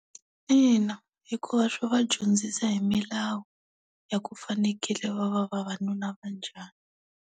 Ina, hikuva swi va dyondzisa hi milawu ya ku fanekele va va vanuna va njhani.